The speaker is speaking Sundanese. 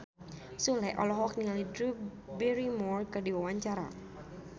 Sule olohok ningali Drew Barrymore keur diwawancara